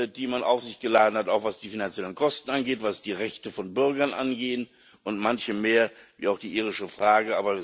die man auf sich geladen hat, auch was die finanziellen Kosten und was die Rechte von Bürgern angeht und Manches mehr wie auch die irische Frage.